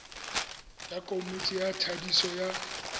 tsa komiti ya thadiso ya